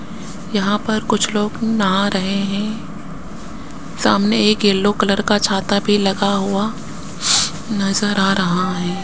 यहां पर कुछ लोग नहा रहे है सामने एक येलो कलर का छाता भी लगा हुआ नज़र आ रहा है।